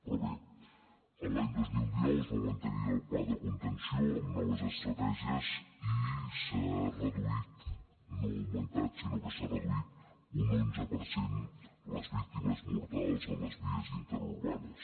però bé a l’any dos mil dinou es va mantenir el pla de contenció amb noves estratègies i s’ha reduït no ha augmentat sinó que s’ha reduït un onze per cent les víctimes mortals a les vies interurbanes